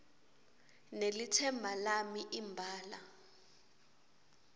nelitsemba lami imbala